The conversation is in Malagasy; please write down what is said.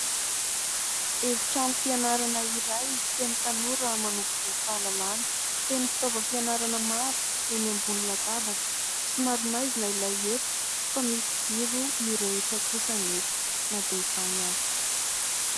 Efi-trano fianarana iray feno tanora manovo fahalalàna, feno fitaovam-pianarana maro eny ambon'ny latabatra somary maizina ilay efitra fa misy jiro mirehitra kosa anefa na dia izany azy.